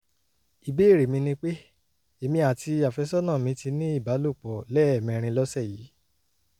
ìbéèrè mi ni pé: èmi àti àfẹ́sọ́nà mi ti ní ìbálòpọ̀ lẹ́ẹ̀mẹrin lọ́sẹ̀ yìí